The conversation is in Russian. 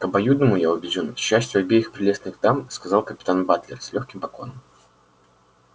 к обоюдному я убеждён счастью обеих прелестных дам сказал капитан батлер с лёгким поклоном